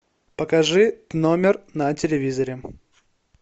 покажи номер на телевизоре